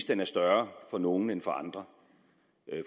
den er større for nogle end for andre